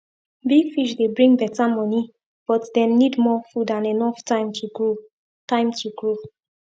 big fish dey bring better money but dem need more food and enough time to grow time to grow